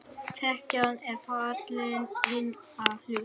Þekjan er fallin inn að hluta.